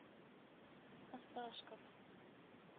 осташков